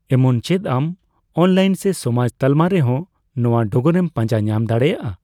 ᱮᱢᱚᱱ ᱪᱮᱫ ᱟᱢ ᱚᱱᱞᱟᱭᱤᱱ ᱥᱮ ᱥᱚᱢᱟᱡᱽ ᱛᱟᱞᱢᱟ ᱨᱮᱦᱚᱸ ᱱᱚᱣᱟ ᱰᱚᱜᱚᱨᱮᱢ ᱯᱟᱸᱡᱟ ᱧᱟᱢ ᱫᱟᱲᱮᱹᱭᱟᱜᱼᱟ ᱾